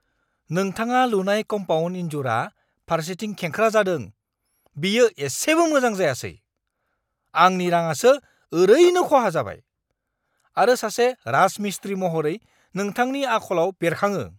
नोंथाङा लुनाय कम्पाउन्ड इनजुरआ फारसेथिं खेंख्रा जादों-बेयो एसेबो मोजां जायासै, आंनि राङासो ओरैनो खहा जाबाय, आरो सासे राजमिस्त्री महरै नोंथांनि आखलाव बेरखाङो।